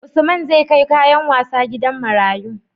Usman zAi kai kayan wasa gidan marayu